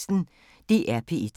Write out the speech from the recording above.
DR P1